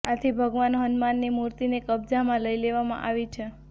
આથી ભગવાન હનુમાનની મૂર્તિને કબજામાં લઈ લેવામાં આવી છે